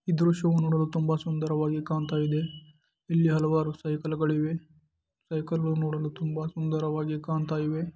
ಈ ದೃಶ್ಯ ನೋಡಲು ತುಂಬಾ ಸುಂದರವಾಗಿ ಕಾಣ್ತಾ ಇದೆ. ಇಲ್ಲಿ ಹಲವಾರು ಸೈಕಲ್ಗಳಿಗೆ ಸೈಕಲ್ ನೋಡಲು ತುಂಬಾ ಸುಂದರವಾಗಿ ಕಾಣ್ತಾ ಇದೆ.